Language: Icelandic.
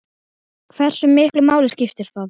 Hversu miklu máli skiptir það?